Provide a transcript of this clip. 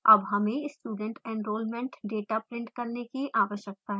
अब हमें student enrollment data print करने की आवश्यकता है